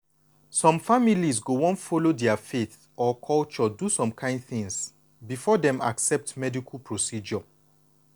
some families go wan follow dia faith or culture do some things before dem accept medical procedure.